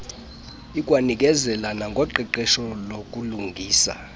ikwanikezela nangoqeqesho lokulungisa